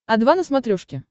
о два на смотрешке